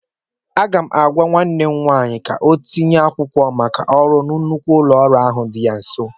Aga m agwa nwanne m nwaanyị ka ọ tinye akwụkwọ maka ọrụ na nnukwu ụlọ ahịa dị ya nso.